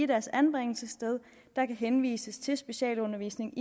deres anbringelsessted der kan henvises til specialundervisning